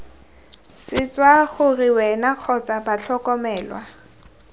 swetsa gore wena kgotsa batlhokomelwa